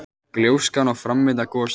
Gjóskan og framvinda gossins.